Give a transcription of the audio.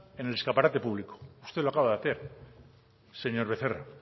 en el escaparate público usted lo acaba de hacer señor becerra